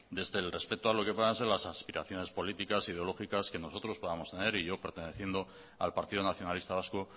desde el respeto a lo que puedan ser las aspiraciones políticas ideológicas que nosotros podamos tener y yo perteneciendo al partido nacionalista vasco